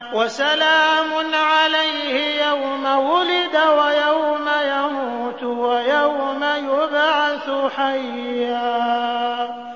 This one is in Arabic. وَسَلَامٌ عَلَيْهِ يَوْمَ وُلِدَ وَيَوْمَ يَمُوتُ وَيَوْمَ يُبْعَثُ حَيًّا